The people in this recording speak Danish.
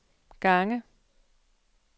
gange